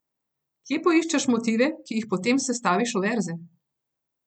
Kje poiščeš motive, ki jih potem sestaviš v verze?